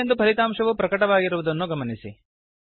300 ಎಂದು ಫಲಿತಾಂಶವು ಪ್ರಕಟವಾಗಿರುವುದನ್ನು ಗಮನಿಸಿ